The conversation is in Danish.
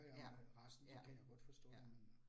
Ja, ja, ja